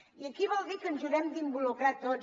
i això vol dir que ens hi haurem d’involucrar tots